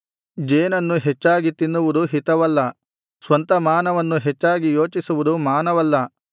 ಜೇನನ್ನು ಹೆಚ್ಚಾಗಿ ತಿನ್ನುವುದು ಹಿತವಲ್ಲ ಸ್ವಂತಮಾನವನ್ನು ಹೆಚ್ಚಾಗಿ ಯೋಚಿಸುವುದು ಮಾನವಲ್ಲ